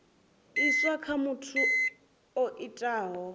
iswa kha muthu o itaho